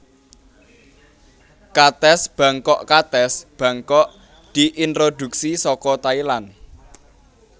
Katès bangkokKatès bangkok diintrodhuksi saka Thailand